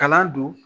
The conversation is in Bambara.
Kalan don